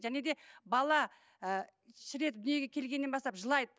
және де бала ы шыр етіп дүниеге келгеннен бастап жылайды